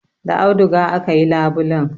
Da auduga aka yi labulen.